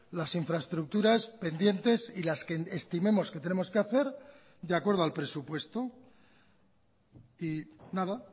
las infraestructuras pendientes y las que estimemos que tenemos que hacer de acuerdo al presupuesto y nada